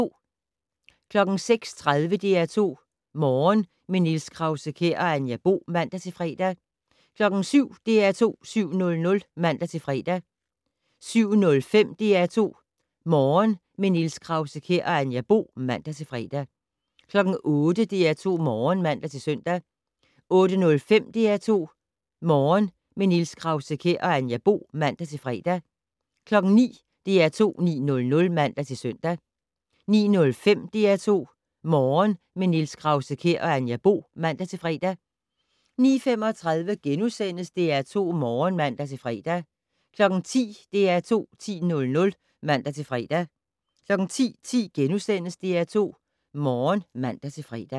06:30: DR2 Morgen - med Niels Krause-Kjær og Anja Bo (man-fre) 07:00: DR2 7:00 (man-fre) 07:05: DR2 Morgen - med Niels Krause-Kjær og Anja Bo (man-fre) 08:00: DR2 8:00 (man-søn) 08:05: DR2 Morgen - med Niels Krause-Kjær og Anja Bo (man-fre) 09:00: DR2 9:00 (man-søn) 09:05: DR2 Morgen - med Niels Krause-Kjær og Anja Bo (man-fre) 09:35: DR2 Morgen *(man-fre) 10:00: DR2 10:00 (man-søn) 10:10: DR2 Morgen *(man-fre)